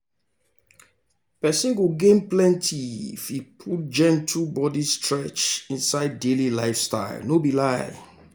person go gain plenty if e put gentle body stretch inside daily lifestyle no be lie.